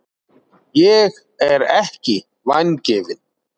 Ég er ekki vangefin.